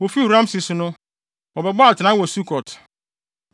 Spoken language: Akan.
Wofii Rameses no, wɔbɛbɔɔ atenae wɔ Sukot.